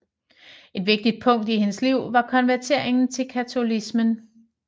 Et vigtigt punkt i hendes liv var konverteringen til katolicismen